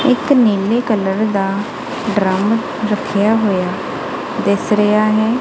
ਇੱਕ ਨੀਲੇ ਕਲਰ ਦਾ ਡਰਮ ਰੱਖਿਆ ਹੋਇਆ ਦਿਸ ਰਿਹਾ ਹੈ।